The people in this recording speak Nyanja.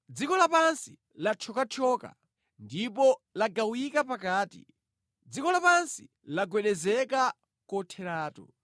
Dziko lapansi lathyokathyoka, ndipo lagawika pakati, dziko lapansi lagwedezeka kotheratu.